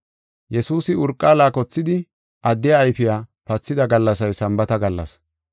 Yesuusi urqa laakothidi addiya ayfiya pathida gallasay Sambaata gallas.